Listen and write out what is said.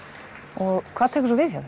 og hvað tekur svo við hjá